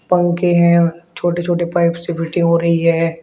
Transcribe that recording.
पंखे है और छोटे छोटे पाइप हो रही है।